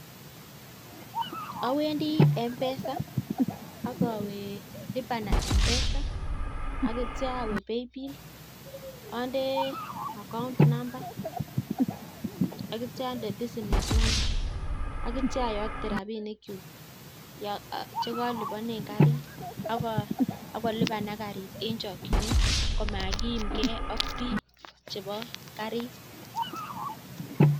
Awendi M-Pesa ak awe lipa na M-Pesa ak kityo awe paybill ande account number ak kityo onde business number ak kityo oyokte rabinikyuk che koliponen karit ak kolipanak karit en chokinet komakiimge ak biik chebo karit.